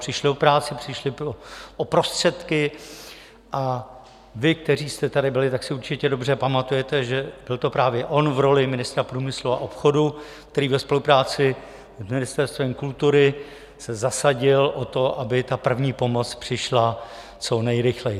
Přišli o práci, přišli o prostředky a vy, kteří jste tady byli, tak si určitě dobře pamatujete, že byl to právě on v roli ministra průmyslu a obchodu, který ve spolupráci s Ministerstvem kultury se zasadil o to, aby ta první pomoc přišla co nejrychleji.